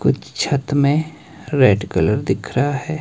कुछ छत में रेड कलर दिख रहा है।